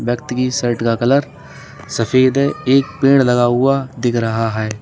एक व्यक्ति के शर्ट का कलर सफेद है एक पेड़ लगा हुआ दिख रहा है।